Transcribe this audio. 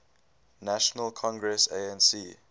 national congress anc